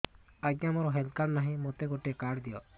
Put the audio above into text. ଆଜ୍ଞା ମୋର health card ନାହିଁ ମୋତେ ଗୋଟେ କାର୍ଡ ଦିଅ